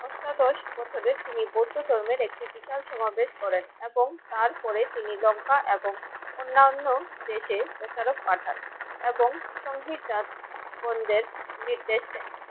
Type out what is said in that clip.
অষ্টাদশ প্রথবে তিনি বৌদ্ধ ধর্মের একটি বিশাল সমাবেশ করেন এবং তারপরে তিনি লঙ্কা এবং অন্যান্য দেশে প্রচারক পাঠান। এবং সংহিতা বন্ধের নির্দেশ দেন।